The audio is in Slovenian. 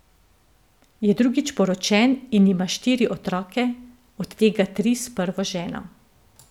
Je drugič poročen in ima štiri otroke, od tega tri s prvo ženo.